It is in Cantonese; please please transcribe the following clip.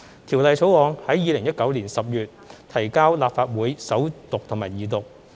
《條例草案》於2019年10月提交立法會首讀及二讀。